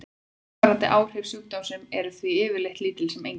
Langvarandi áhrif sjúkdómsins eru því yfirleitt lítil sem engin.